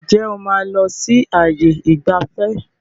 Ǹjẹ́ o máa lọ sí ààyè ìgbafẹ́?